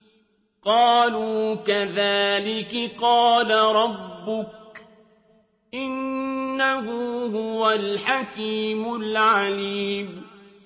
قَالُوا كَذَٰلِكِ قَالَ رَبُّكِ ۖ إِنَّهُ هُوَ الْحَكِيمُ الْعَلِيمُ